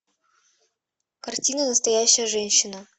картина настоящая женщина